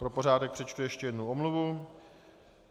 Pro pořádek přečtu ještě jednu omluvu.